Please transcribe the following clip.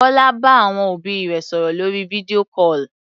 Bọ́lá bá àwọn òbí rẹ̀ sọ̀rò lórí video call.